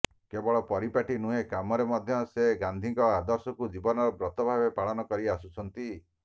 କେବଳ ପରିପାଟି ନୁହେଁ କାମରେ ମଧ୍ୟ ସେ ଗାନ୍ଧିଙ୍କ ଆଦର୍ଶକୁ ଜୀବନର ବ୍ରତ ଭାବେ ପାଳନ କରି ଆସୁଛନ୍ତି